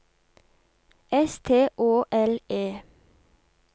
S T Å L E